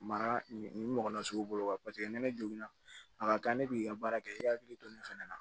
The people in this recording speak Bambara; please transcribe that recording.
Mara nin ɲɔgɔn na sugu bolo ni ne jiginna a ka kan ne b'i ka baara kɛ i hakili to nin fana na